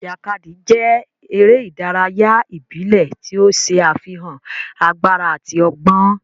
Ijakadi jẹ ere idaraya ibile ti o ṣe afihan agbara ati ọgbọn.